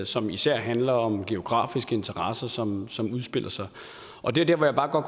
som især handler om geografiske interesser som som udspiller sig og det er der hvor jeg bare